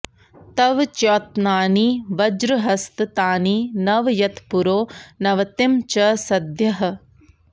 तव॑ च्यौ॒त्नानि॑ वज्रहस्त॒ तानि॒ नव॒ यत्पुरो॑ नव॒तिं च॑ स॒द्यः